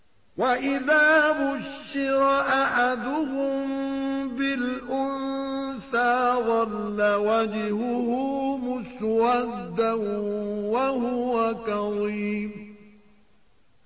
وَإِذَا بُشِّرَ أَحَدُهُم بِالْأُنثَىٰ ظَلَّ وَجْهُهُ مُسْوَدًّا وَهُوَ كَظِيمٌ